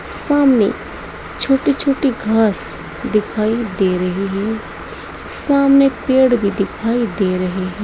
सामने छोटी छोटी घास दिखाई दे रही है सामने पेड़ भी दिखाई दे रहे हैं।